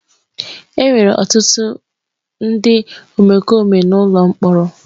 Enwere ọtụtụ ndị omekome n'ụlọ mkpọrọ.